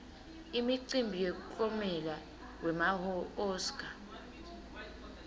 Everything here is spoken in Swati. imicimbi yemiklomelo wema oscar